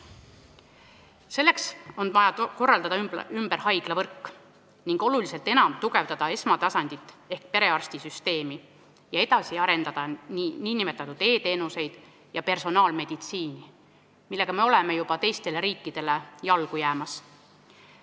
Selleks on vaja korraldada ümber haiglavõrk ning oluliselt tugevdada esmatasandit ehk perearstisüsteemi ja edasi arendada nn e-teenuseid ja personaalmeditsiini, milles me oleme juba teistele riikidele jalgu jäämas.